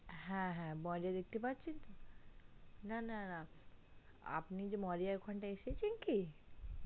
হে হে moriya দেখতে পারছেন না না আপনি moriya আর ওখানটায় এসেছেন কি